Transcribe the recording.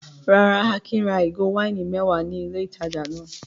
Rárá, Akin ra ìgò wáìnì mẹ́wàá ní ilé-ìtajà náà.